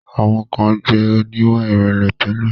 Àwọn kan jẹ̀ oníwà ìrẹ̀lẹ̀ tẹ́lẹ̀.